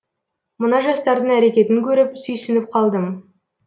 мына жастардың әрекетін көріп сүйсініп қалдым